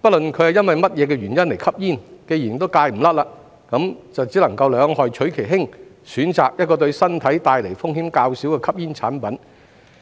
不論是因為何種原因吸煙，既然戒不掉，就只能兩害取其輕，選擇一個對身體帶來風險較少的吸煙產品。